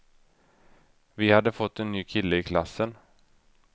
Vi hade fått en ny kille i klassen.